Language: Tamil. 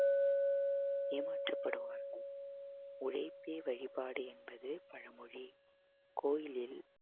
ஏமாற்றப்படுவார்கள் உழைப்பே வழிபாடு என்பது பழமொழி கோயிலில்